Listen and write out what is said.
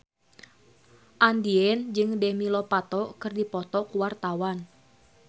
Andien jeung Demi Lovato keur dipoto ku wartawan